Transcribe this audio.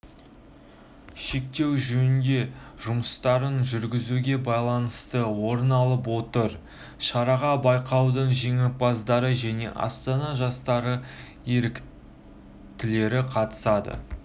шектеу жөндеу жұмыстарын жүргізуге байланысты орын алып отыр шараға байқаудың жеңімпазы және астана жастары еріктілері қатысады